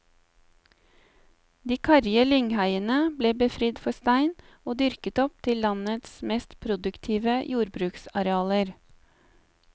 De karrige lyngheiene ble befridd for stein, og dyrket opp til landets mest produktive jordbruksarealer.